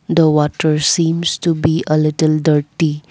the water seems to be a little dirty.